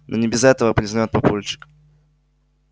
ну не без этого признаёт папульчик